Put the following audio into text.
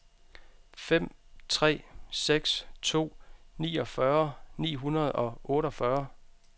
fem tre seks to niogfyrre ni hundrede og otteogfyrre